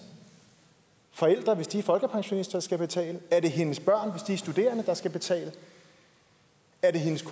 forældre hvis de er folkepensionister der skal betale er det hendes børn hvis de er studerende der skal betale er det hendes